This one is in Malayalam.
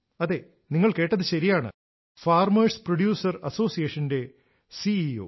അതെ നിങ്ങൾ കേട്ടത് ശരിയാണ് ഫാർമേഴ്സ് പ്രൊഡ്യൂസർ അസോസിയേഷന്റെ സിഇഒ